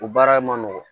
O baara ma nɔgɔn